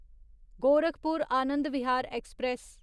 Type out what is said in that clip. Gorakhpur Anand Vihar express